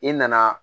I nana